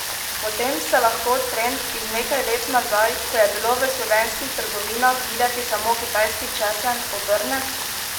Potem se lahko trend iz nekaj let nazaj, ko je bilo v slovenskih trgovinah videti samo kitajski česen, obrne?